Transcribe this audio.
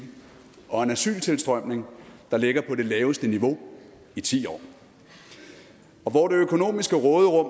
og asyltilstrømning der ligger på det laveste niveau i ti år og hvor det økonomiske råderum